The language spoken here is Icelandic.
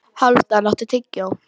Hálfdan, áttu tyggjó?